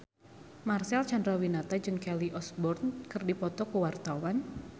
Marcel Chandrawinata jeung Kelly Osbourne keur dipoto ku wartawan